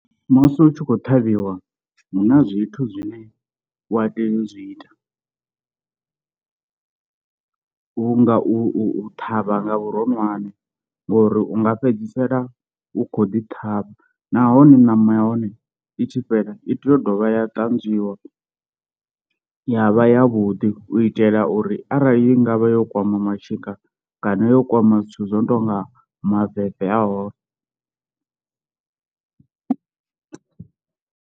Musi u tshi khou ṱhavhiwa huna zwithu zwine wa tea u zwi ita , vhu nga u u u ṱhavha nga vhuronwane, ngori u nga fhedzisela u khou ḓi ṱhavha, nahone ṋama ya hone i tshi fhela i tea u dovha ya ṱanzwiwa ya vha ya vhuḓi u itela uri arali i ngavha yo kwama mashika kana yo kwama zwithu zwo no tonga maveve a hone.